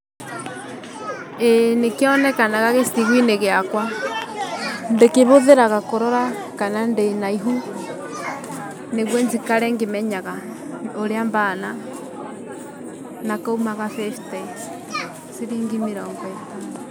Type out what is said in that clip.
ĩĩ nĩkĩonekanaga gĩcigu-inĩ gĩakwa, ndĩkĩbũthĩraga kũrora kana ndĩna ihu, nĩguo njikare ngĩmenyaga ũrĩa mbana na kaumaga fifty, ciringi mĩrongo ĩtano.